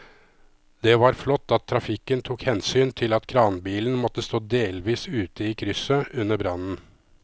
Det var flott at trafikken tok hensyn til at kranbilen måtte stå delvis ute i krysset under brannen.